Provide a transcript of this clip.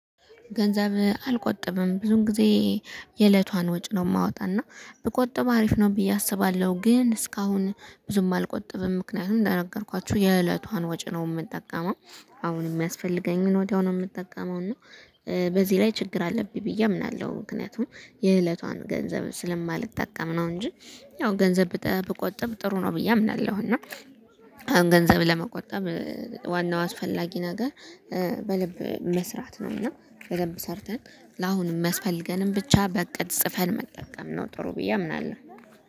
ገንዘብ አልቆጥብም ብዙን ጊዜ የእለቷን ወጪ ነው የማወጣና ብቆጥብ አሪፍ ነው ብዬ አስባለሁ። ግን እስካሁን ብዙም አልቆጥብም ምክንያቱም እንደነገርኳችሁ የእለቷን ወጪ ነው የምጠቀመው አሁን የሚያስፈልገኝን ወዲያው ነው የምጠቀመው እና በዚህ ላይ ችግር አለብኝ ብዬ አምናለሁ ምክንያቱም የእለቷን ገንዘብ ስለማልጠቀም ነው እንጂ ያው ገንዘብ ብቆጥብ ጥሩ ነው ብዬ አምናለሁ። እና አሁን ገንዘብ ለመቆጣብ ዋናው አስፈላጊ ነገር በደንብ መስራት ነው እና በደንብ ሰርተን ለአሁንም የሚያመስፈልገንን ብቻ በእቅድ ፅፈን መጠቀም ነው ጥሩ ብዬ አምናለሁ።